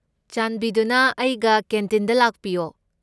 ꯆꯥꯟꯕꯤꯗꯨꯅ ꯑꯩꯒ ꯀꯦꯟꯇꯤꯟꯗ ꯂꯥꯛꯄꯤꯌꯣ꯫